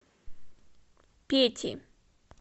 пети